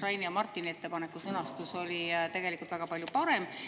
Raini ja Martini ettepaneku sõnastus oli tegelikult väga palju parem.